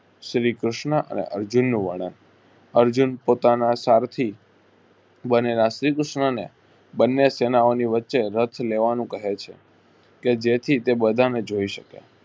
શ્રી કૃષ્ણ અને અર્જુનનુ વર્ણન અર્જુન પોતાના સારથી બનેલા શ્રી કૃષ્ણને બને સેનાઓની વચ્ચે રથ લેવાનું કહેછે કેજેથી તે બંને જોઈ શકે.